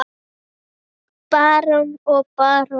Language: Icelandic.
Barón og barón